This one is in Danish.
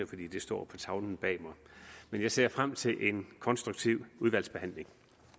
fordi det står på tavlen bag mig men jeg ser frem til en konstruktiv udvalgsbehandling